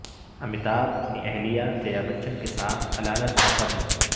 امیتابھ اپنی اہلیہ جیابچن کے ساتھ علالت سے قبل